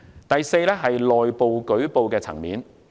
第四，內部舉報。